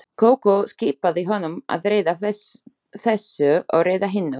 Kókó skipaði honum að redda þessu og redda hinu.